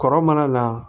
Kɔrɔ mana na